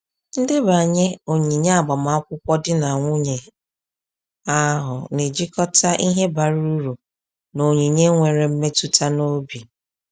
Ndebanye onyinye agbamakwụkwọ di na nwunye ahụ na-ejikọta ihe bara uru na onyinye nwere mmetụta n’obi.